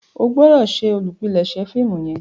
o gbọdọ ṣe olùpilèsè fíìmù yen.